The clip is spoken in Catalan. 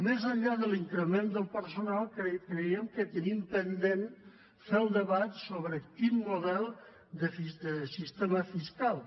més enllà de l’increment del personal creiem que tenim pendent fer el debat sobre quin model de sistema fiscal